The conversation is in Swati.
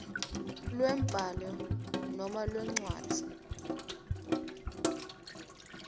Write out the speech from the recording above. lwembhalo noma lencwadzi